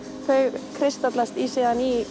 þau kristallast síðan í